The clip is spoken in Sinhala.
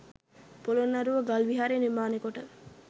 පොළොන්නරුව ගල් විහාරයේ නිර්මාණය කොට